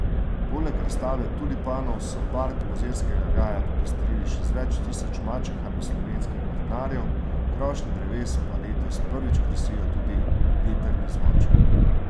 Poleg razstave tulipanov so park Mozirskega gaja popestrili še z več tisoč mačehami slovenskih vrtnarjev, krošnje dreves pa letos prvič krasijo tudi vetrni zvončki.